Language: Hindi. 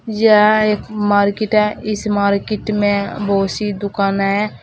यह एक मार्केट है इस मार्केट में बहुत सी दुकानें हैं।